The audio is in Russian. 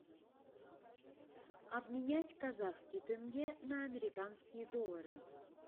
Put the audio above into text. обменять казахский тенге на американские доллары